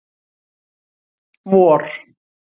vor